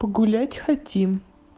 гулять хотим